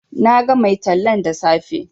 Na ga mai tallan da safe